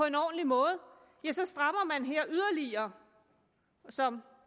en ordentlig måde strammes her yderligere som